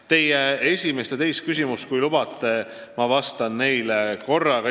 Teie esimesele ja teisele küsimusele ma vastan korraga, kui te lubate.